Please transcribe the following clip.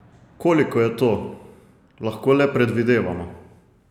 Koliko je to, lahko le predvidevamo.